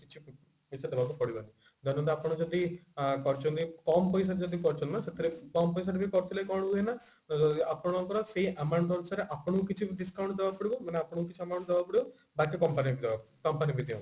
ପଇସା ଦେବାକୁ ପଡିବନି ଧରନ୍ତୁ ଆପଣ ଯଦି କରିଛନ୍ତି କମ ପଇସାର ଯଦି କରିଛନ୍ତି ନା ସେଥିରେ କମ ପଇସା ରେ ବି କରିଥିଲେ କଣ ହୁଏ ନା ଆପଣଙ୍କର ସେଇ amount ଅନୁସାରେ ଆପଣଙ୍କୁ କିଛି discount ଦବାକୁ ପଡିବ ମାନେ ଆପଣଙ୍କୁ କିଛି amount ଦବାକୁ ପଡିବ ବାକି company ଦବାପାଇଁ company